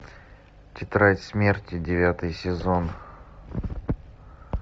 тетрадь смерти девятый сезон